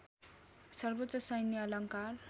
सर्वोच्च सैन्य अलङ्कार